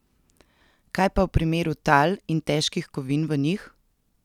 Kaj pa v primeru tal in težkih kovin v njih?